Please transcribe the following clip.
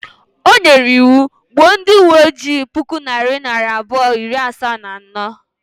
O nyere iwu, gbuo ndị uwe ojii puku na narị abụọ na iri asaa na anọ